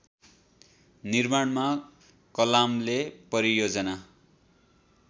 निर्माणमा कलामले परियोजना